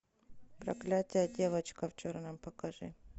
проклятие девочка в черном покажи